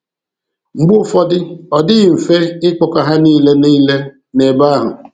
Mgbe ụfọdụ, ọ dịghị mfe ịkpọkọ ha niile niile nebe ahụ.